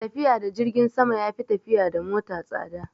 Tafiya da jirgin sama ya fi tafiya da mota tsada